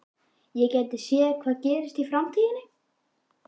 Ég gæti séð hvað gerist í framtíðinni.